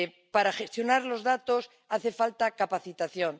Para gestionar los datos hace falta capacitación